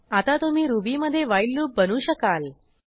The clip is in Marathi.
आता तुम्ही रुबीमधे व्हाईल लूप बनवू शकाल